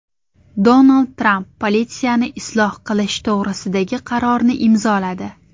Donald Tramp politsiyani isloh qilish to‘g‘risidagi qarorni imzoladi.